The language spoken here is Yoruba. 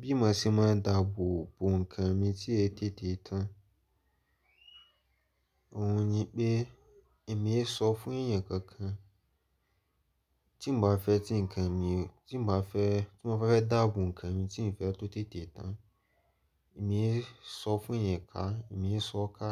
Bí mo ṣe máa ń dáàbò bo nǹkan mi tí ẹ tètè tán, òun ni pé èmi ń sọ fún èèyàn kankan tí mbá fẹ́ tí nkan mi tí mò bá fẹ́ dáàbò ǹkan mi tí mio fẹ́ kó tètè tán, èmi ń sọ fún èèyàn ká, èmi ń sọ ká,